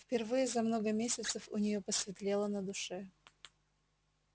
впервые за много месяцев у нее посветлело на душе